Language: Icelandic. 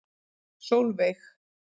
Sólveig